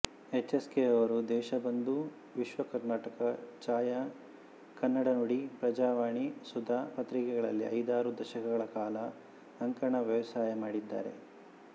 HSK ಅವರು ದೇಶಬಂಧು ವಿಶ್ವಕರ್ನಾಟಕ ಛಾಯಾ ಕನ್ನಡನುಡಿ ಪ್ರಜಾವಾಣಿ ಸುಧಾ ಪತ್ರಿಕೆಗಳಲ್ಲಿ ಐದಾರು ದಶಕಗಳ ಕಾಲ ಅಂಕಣ ವ್ಯವಸಾಯ ಮಾಡಿದ್ದಾರೆ